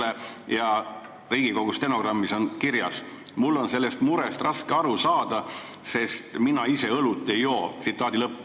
See on kirjas Riigikogu stenogrammis: "Mul on tõesti sellest murest raske aru saada, sest mina ise õlut ei joo.